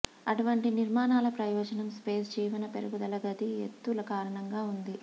అటువంటి నిర్మాణాల ప్రయోజనం స్పేస్ జీవన పెరుగుదల గది ఎత్తు కారణంగా ఉంది